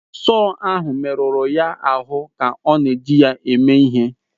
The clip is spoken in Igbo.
Sọọ ahụ merụrụ ya ahụ mgbe ọ na-eji ya ime ihe.